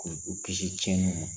K'u u kisi tiɲɛniw ma